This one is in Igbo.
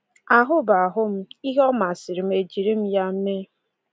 Ahụ bụ ahụ m, ihe ọ masịrị m e jiri m ya mee.